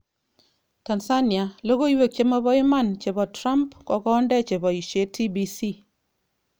Tanzania: Logoiwek chemoboiman chebo Trump kokonde cheboishe TBC